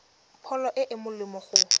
pholo e e molemo go